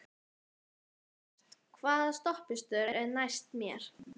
Hemmert, hvaða stoppistöð er næst mér?